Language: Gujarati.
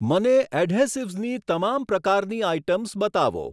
મને એડહેસિવ્સની તમામ પ્રકારની આઇટમ્સ બતાવો.